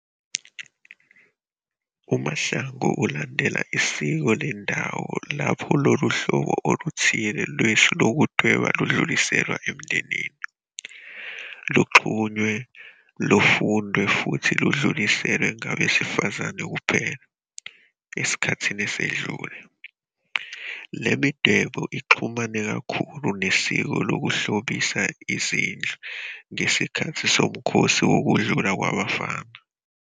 UMahlangu ulandela isiko lendawo lapho lolu hlobo oluthile lwesu lokudweba ludluliselwa emndenini, luxhunywe, lufundwe futhi ludluliselwe ngabesifazane kuphela, esikhathini esedlule. Le midwebo ixhumene kakhulu nesiko lokuhlobisa izindlu ngesikhathi somkhosi wokudlula kwabafana.